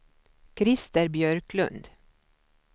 Christer Björklund